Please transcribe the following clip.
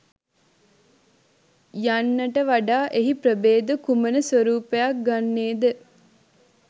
යන්නට වඩා එහි ප්‍රභේද කුමන ස්වරූපයක් ගන්නේ ද?